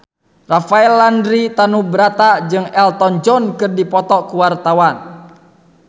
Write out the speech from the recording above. Rafael Landry Tanubrata jeung Elton John keur dipoto ku wartawan